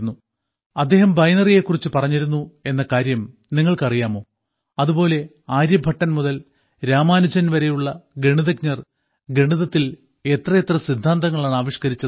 അദ്ദേഹം ബൈനറിയെ കുറിച്ച് പറഞ്ഞിരുന്നു എന്ന കാര്യം നിങ്ങൾക്കറിയാമോ അതുപോലെ ആര്യഭട്ടൻ മുതൽ രാമാനുജൻ വരെയുള്ള ഗണിതജ്ഞർ ഗണിതത്തിൽ എത്രയെത്ര സിദ്ധാന്തങ്ങളാണ് ആവിഷ്ക്കരിച്ചത്